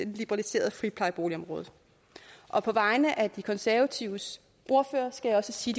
liberaliserede friplejeboligområde og på vegne af de konservatives ordfører skal jeg sige